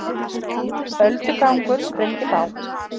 Öldugangur sprengdi bát